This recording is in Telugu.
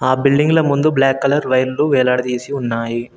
ఆ బిల్డింగ్ల ముందు బ్లాక్ కలర్ వైర్లు వేలాడదీసి ఉన్నాయి.